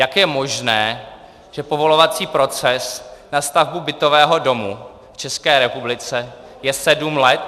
Jak je možné, že povolovací proces na stavbu bytového domu v České republice je sedm let?